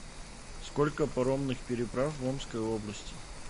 сколько паромных переправ в омской области